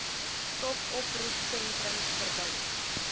stop oproepsentrums verbind